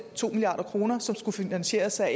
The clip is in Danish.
to milliard kr som skulle finansieres af